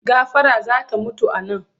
Gafara za ta mutu a nan!